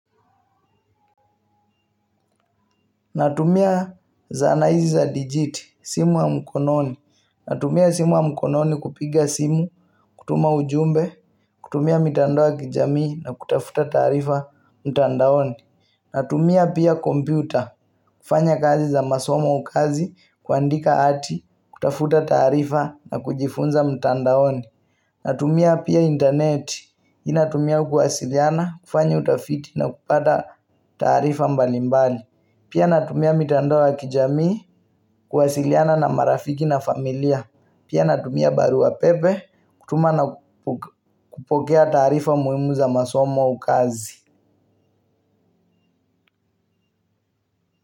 Natumia zana hizi za digiti, simu ya mkononi. Natumia simu ya mkononi kupiga simu, kutuma ujumbe, kutumia mitandao ya kijamii na kutafuta taarifa mtandaoni. Natumia pia kompyuta, kufanya kazi za masomo au kazi, kuandika ati, kutafuta tarifa na kujifunza mtandaoni. Natumia pia internet, hii natumia kuwasiliana, kufanya utafiti na kupata taarifa mbalimbali. Pia natumia mitandao ya kijami, kuwasiliana na marafiki na familia. Pia natumia barua pepe, kutuma na kupokea taarifa muhimu za masomo au kazi.